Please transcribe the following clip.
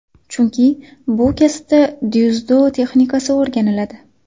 Chunki, bu kasbda dzyudo texnikasi o‘rganiladi.